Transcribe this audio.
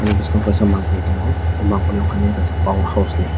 aw bwskang o kaisa mampli tong aw mampli unkhe power house ni.